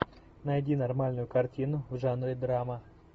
найди нормальную картину в жанре драма